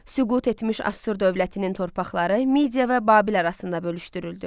Süqut etmiş Asur dövlətinin torpaqları Midiya və Babil arasında bölüşdürüldü.